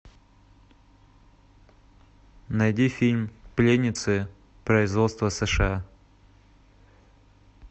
найди фильм пленницы производства сша